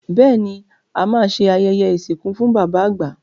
Bẹ́ẹ̀ ni, à máa ṣe ayẹyẹ ìsìnkú fún bàbá àgbà.